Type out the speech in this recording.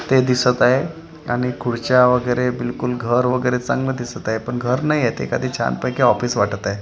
ते दिसत आहे आणि खुर्च्या वगैरे बिलकुल घर वगैरे चांगलं दिसत आहे पण घर नाहीये ते एखादे छानपैकी ऑफिस वाटत आहे.